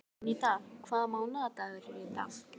Jónída, hvaða mánaðardagur er í dag?